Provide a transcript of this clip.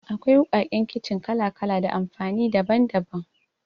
Akwai wuƙaƙe kicin kala-kala da amfani daban-daban.